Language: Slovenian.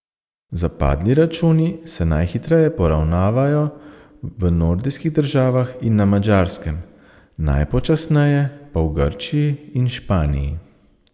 Zapadli računi se najhitreje poravnavajo v nordijskih državah in na Madžarskem, najpočasneje pa v Grčiji in Španiji.